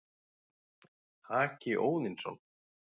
Haki Óðinsson,